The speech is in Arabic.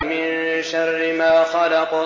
مِن شَرِّ مَا خَلَقَ